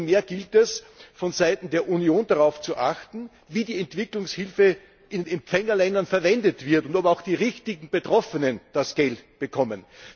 Umso mehr gilt es, vonseiten der Union darauf zu achten, wie die Entwicklungshilfe in Empfängerländern verwendet wird und ob auch die richtigen Betroffenen das Geld bekommen.